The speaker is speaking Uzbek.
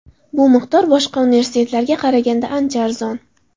Bu miqdor boshqa universitetlarga qaraganda ancha arzon.